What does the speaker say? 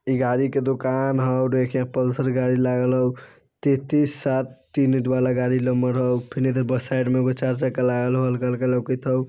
ई गाड़ी के दूकान हउ और पल्सर गाड़ी लागल हउ तैतीस सात तीन वाला गाड़ी नंबर हो फिर इधर बस साइड में एगो चार-चक्का लागल हउ हल्का-हल्का लोकत हउ।